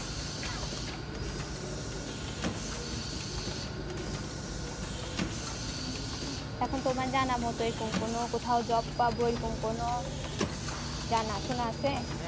এখন তোমার জানা মতো এই কম কোনো কোথাও job পাবো এই রকম কোনো জানা সোনা আসে